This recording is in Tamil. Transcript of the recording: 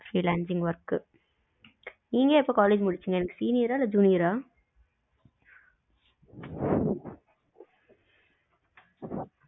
freelancing work நீங்க எப்போ college முடுசிங்க எனக்கு senior ஆ இல்ல junior ஆ